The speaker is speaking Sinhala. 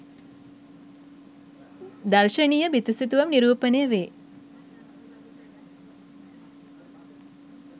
දර්ශනීය බිතු සිතුවම් නිරූපණය වේ